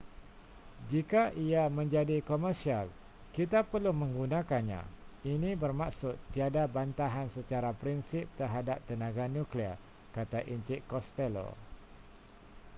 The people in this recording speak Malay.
jika ia menjadi komersial kita perlu menggunakannya ini bermaksud tiada bantahan secara prinsip terhadap tenaga nuklear kata encik costello